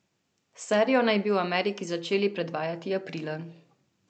Serijo naj bi v Ameriki začeli predvajati aprila.